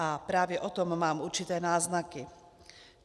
A právě o tom mám určité náznaky.